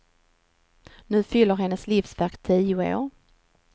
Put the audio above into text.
Nu fyller hennes livsverk tio år.